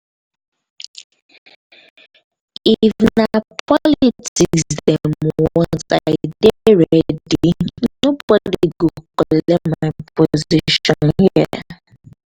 if na politics dem want i dey ready. nobodi go collect my position here.